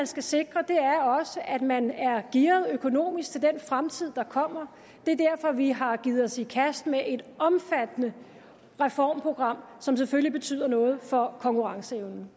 skal sikre er at man er gearet økonomisk til den fremtid der kommer det er derfor vi har givet os i kast med et omfattende reformprogram som selvfølgelig betyder noget for konkurrenceevnen